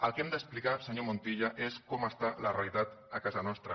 el que hem d’explicar senyor montilla és com està la realitat a casa nostra